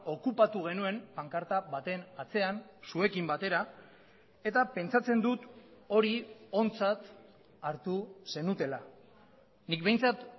okupatu genuen pankarta baten atzean zuekin batera eta pentsatzen dut hori ontzat hartu zenutela nik behintzat